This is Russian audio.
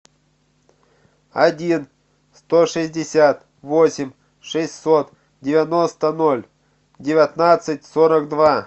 один сто шестьдесят восемь шестьсот девяносто ноль девятнадцать сорок два